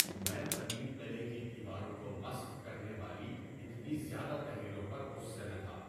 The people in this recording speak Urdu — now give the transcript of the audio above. میں قدیم قلعے کی دیواروں کو مسخ کرنے والی اتنی زیادہ تحریروں پر غصے میں تھا۔